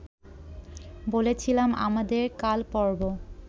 বলেছিলাম আমাদের কালপর্ব